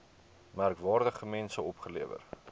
merkwaardige mense opgelewer